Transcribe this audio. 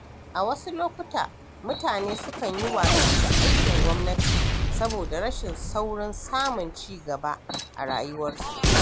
A wasu lokuta, mutane sukan yi watsi da aikin gwamnati saboda rashin saurin samun ci gaba a rayuwarsu.